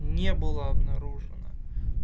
не было обнаружено